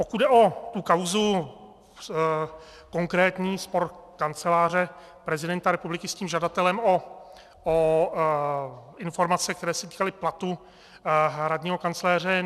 Pokud jde o tu kauzu konkrétní, spor Kanceláře prezidenta republiky s tím žadatelem o informace, které se týkaly platu hradního kancléře.